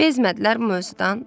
Bezmədilər bu mövzudan.